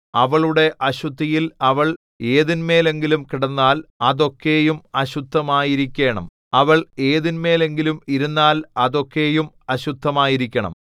അവളുടെ അശുദ്ധിയിൽ അവൾ ഏതിന്മേലെങ്കിലും കിടന്നാൽ അതൊക്കെയും അശുദ്ധമായിരിക്കേണം അവൾ ഏതിന്മേലെങ്കിലും ഇരുന്നാൽ അതൊക്കെയും അശുദ്ധമായിരിക്കണം